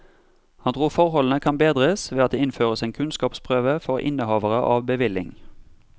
Han tror forholdene kan bedres ved at det innføres en kunnskapsprøve for innehavere av bevilling.